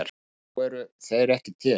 En nú eru þeir ekki til.